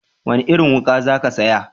Wani irin wuka za ka saya?